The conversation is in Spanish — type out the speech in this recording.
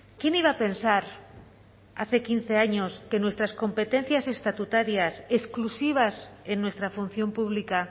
quién iba a pensar hace quince años que nuestras competencias estatutarias exclusivas en nuestra función pública